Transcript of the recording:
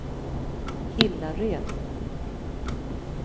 Hillared